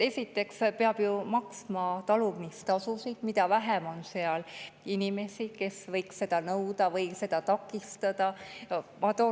Peab ju maksma talumistasusid ja mida vähem on seal inimesi, kes võiks seda nõuda või takistada,.